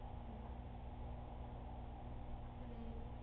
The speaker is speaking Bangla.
হম তাহলে